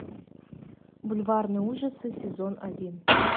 бульварные ужасы сезон один